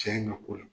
Cɛ in ka ko la